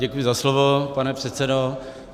Děkuji za slovo, pane předsedo.